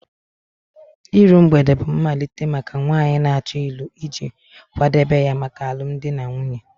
Iru mgbede bụ mmalite maka nwanyị na-achọ ịlụ iji kwadebe ya maka alụmdi na nwunye